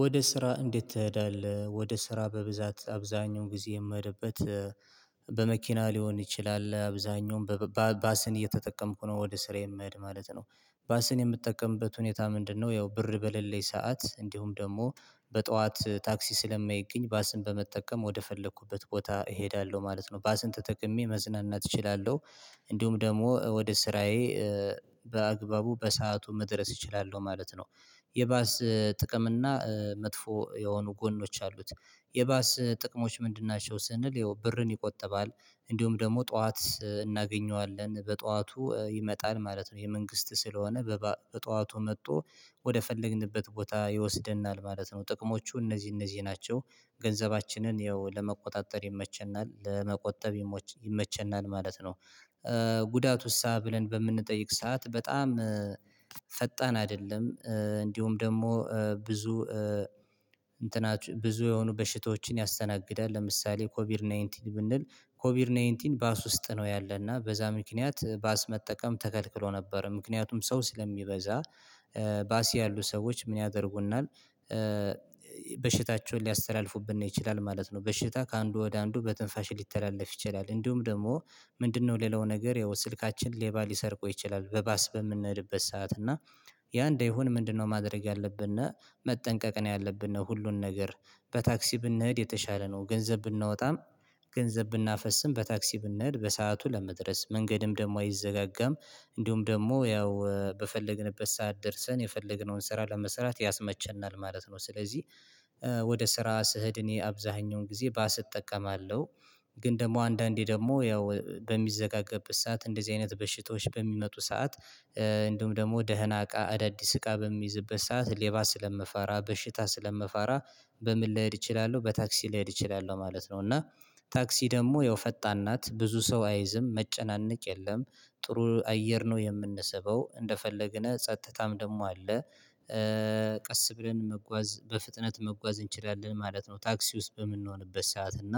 ወደ ስራ እንዴት? ትሄዳለህ ወደ ስራ በብዛት አብዛኛውን ጊዜ የምሄድበት በመኪና ሊሆን ይችላል አብዛኛውን በባ ባስን እየተጠቀምኩ ነው ወደ ስራ የምሄድ ማለት ነው። ባስን የምጠቀምበት ሁኔታ ምንድነው? ያው ብር በለለኝ ሰዓት እንዲሁም ደግሞ በጧት ታክሲ ስለማይገኝ ባስን በመጠቀም ወደፈለኩበት ቦታ እሄዳለሁ ማለት ነው ባስን ተጠቅሜ መዝናናት እችላለሁ። እንዲሁም ደግሞ ወደ ስራዬ በአግባቡ በሰአቱ መድረስ እችላለሁ ማለት ነው። የባስ ጥቅም እና መጥፎ የሆኑ ጎኖች አሉት። የባስ ጥቅሞች ምንድን ናቸው? ስንል ይሄው ብርን ይቆጥባል እንዲሁም ደግሞ ጠዋት እናገኘዋለን በጠዋቱ ይመጣል ማለት ነው። የመንግስት ስለሆነ በጠዋቱ መጥቶ ወደ ፈለግንበት ቦታ ይወስደናል ማለት ነው። ጥቅሞቹ እነዚህ እነዚህ ናቸው። ገንዘባችንን ያው ለመቆጣጠር ይመቸናል ለመቆጠብ ይመቸናል ማለት ነው። ጉዳቱሳ ብለን በምንጠይቅ ሰዓት በጣም ፈጣን አይደለም። እንዲሁም ደግሞ ብዙ እንትና ብዙ የሆኑ በሽታዎችን ያስተናግዳል። ለምሳሌ ኮቪድ ናይንቲን ብንል ኮቪድ ናይንቲን ባስ ውስጥ ነው። ያለና በዛ ምክንያት ባስ መጠቀም ተከልክሎ ነበር። ምክንያቱም ሰው ስለሚበዛ ባስ ያሉ ሰዎች ምን ያደርጉናል? በሽታቸውን ሊያስተላልፉብን ይችላል ማለት ነው። በሽታ ከአንዱ ወደ አንዱ በትንፋሽ ሊተላለፍ ይችላል። እንዲሁም ደግሞ ምንድነው? ሌላው ነገር ያው ስልካችን ሌባ ሊሰርቆ ይችላል። በባስ በምንሄድበት ሰዓት እና ያ እንደሆነ ምንድነው? ማድረግ ያለብን መጠንቀቅ ነው ያለብን ነው። ሁሉን ነገር በታክሲ ብንሄድ የተሻለ ነው። ገንዘብ ብናወጣም ገንዘብ ብናፈስም በታክሲ ብንሄድ በሰአቱ ለመድረስ መንገድም ደግሞ አይዘጋጋም። እንዲሁም ደግሞ ያው በፈለግንበት ሰዓት ደርሰን የፈለግነውን ስራ ለመስራት ያስመቸናል ማለት ነው። ስለዚህ ወደ ስራ ስሄድ እኔ አብዛኛውን ጊዜ ባስ እጠቀማለሁ። ግን ደግሞ አንዳንዴ ደግሞ ያው በሚዘጋገብት ሰዓት እንደዚህ አይነት በሽታዎች በሚመጡ ሰዓት። እንዲሁም ደግሞ ደህና እቃ አዳዲስ እቃ በሚይዝበት ሰዓት ሌባ ስለምፈራ በሽታ ስለምፈራ በምን ልሄድ እችላለሁ በታክሲ ልሄድ እችላለሁ ማለት ነው። እና ታክሲ ደግሞ ያው ፈጣን ናት ብዙ ሰው አይዝም መጨናነቅ የለም። ጥሩ አየር ነው የምንስበው እንደፈለግን ጸጥታም ደግሞ አለ። ቀስ ብለን መጓዝ በፍጥነት መጓዝ እንችላለን ማለት ነው። ታክሲ ውስጥ በምንሆንበት ሰዓት እና